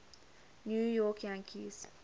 new york yankees